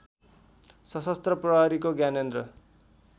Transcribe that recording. सशस्त्र प्रहरीको ज्ञानेन्द्र